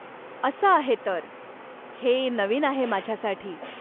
असं आहे तर, हे नवीन आहे माझ्यासाठी.